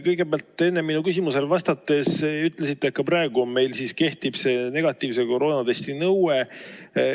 Kõigepealt te enne minu küsimusele vastates ütlesite, et ka praegu meil kehtib see negatiivse koroonatesti nõue.